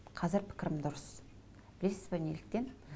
қазір пікірім дұрыс білесіз бе неліктен